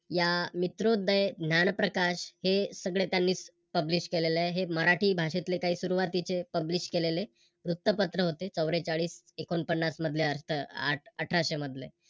या मित्रोदय ज्ञानप्रकाश हे सगळं त्यांनीच Publish केलल आहे. हे मराठी भाषेतले काही सुरुवातीचे Publis केलेले वृत्तपत्र होते. चौरेचाळीस एकोणपन्नास मधल्या आठ अठराशे मधले